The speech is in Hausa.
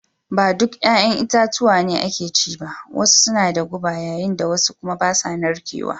Ba duk 'ya'yan itatuwa ne ake ci ba, wasu suna da guba yayin da wasu kuma ba sa narkewa